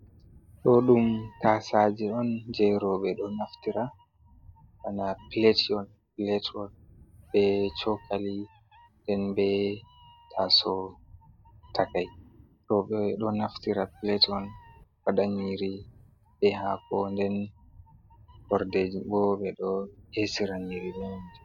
Ɗo ɗum tasaje on je roɓe ɗo naftira bana pilat hon pilat hon be chokali nden be taaso takai. Roɓe ɗo naftira pilat on waɗa nyiri be haako nden hordeji bo ɓeɗo esira nyiri be mai.